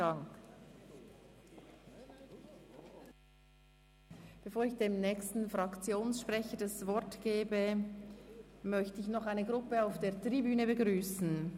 Bevor ich dem nächsten Fraktionssprecher das Wort gebe, möchte ich noch eine Gruppe auf der Tribüne begrüssen.